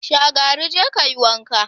Shagari, je ka yi wanka!